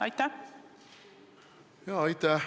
Aitäh!